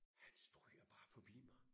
Han stryger bare forbi mig